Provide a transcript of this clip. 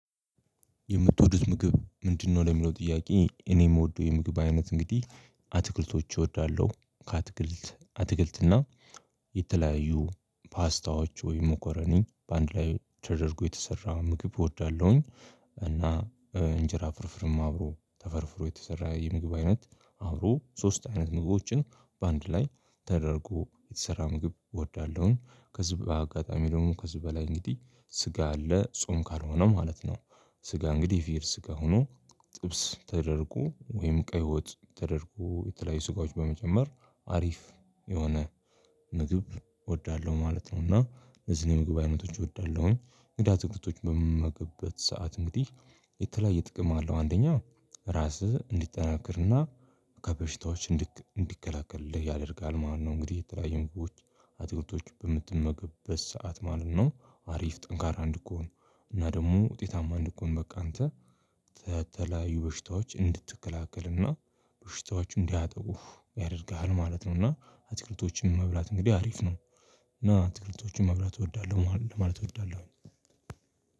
የምትወዱት ምግብ ምንድነው ለሚለው ጥያቄ፣ እኔ የምወደው የምግብ አይነት እንግዲህ አትክልቶች እወዳለሁ። ከአትክልት አትክልትና የተለያዩ ፓስታዎች ወይም ሞኮረኒ በአንድ ላይ ተደርጎ የተሰራ ምግብ እወዳለሁኝ። እና እንጀራ ፍርፍርም አብሮ ተፈርፍሮ የተሰራ የምግብ አይነት አብሮ ሶስት አይነት ምግቦችን በአንድ ላይ ተደርጎ የተሰራ ምግብ እወዳለሁኝ። ከዚህ በአጋጣሚ ደግሞ ከዚህ በላይ እንግዲህ ስጋ አለ ጾም ካልሆነ ማለት ነው። ስጋ እንግዲህ የፍየል ስጋ ሆኖ ጥብስ ተደርጎ ወይም ቀይ ወጥ ተደርጎ የተለያዩ ስጋዎች በመጨመር አሪፍ የሆነ ምግብ እወዳለሁ ማለት ነው። እና እነዚህ የምግብ አይነቶች እወዳለሁ። እንግዲህ አትክልቶችን በምመገበት ሰዓት እንግዲህ የተለያየ ጥቅም አለው። አንደኛ ራስህ እንዲጠነክርና ከበሽታዎች እንዲ እንዲከላከሉሉህ ያደርጋል ማለት ነው። እንግዲህ የተለያየ ምግቦች አትክልቶች በምትመገብበት ሰዓት ማለት ነው አሪፍ ጠንካራ እንድኮን እና ደግሞ ውጤታማ እንድኮን በቃ አንተ ተተለያዩ በሽታዎች እንድትከላከልና በሽታዎቹ እንዳያጠቁህ ያደርግሃል ማለት ነው እና አትክልቶችን መብላት እንግዲህ አሪፍ ነው እና አትክልቶችን መብላት እወዳለሁ ማለት እወዳለሁ